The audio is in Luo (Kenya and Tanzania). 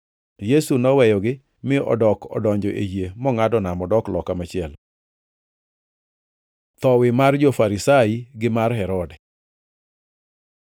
Yesu noweyogi mi odok odonjo e yie mongʼado nam odok loka machielo. Thowi mar jo-Farisai gi mar Herode